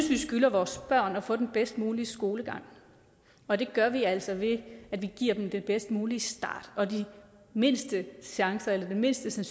vi skylder vores børn at få den bedst mulige skolegang og det gør vi altså ved at vi giver dem den bedst mulige start og den mindste mindste